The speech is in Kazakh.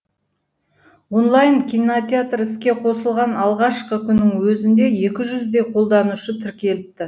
онлайн кинотеатр іске қосылған алғашқы күннің өзінде екі жүздей қолданушы тіркеліпті